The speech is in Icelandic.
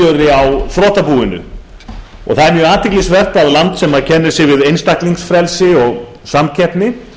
uppgjöri á þrotabúinu það er mjög athyglisvert að land sem kennir sig við einstaklingsfrelsi og samkeppni